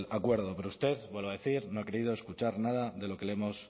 acuerdo pero usted vuelvo a decir no ha querido escuchar nada de lo que le hemos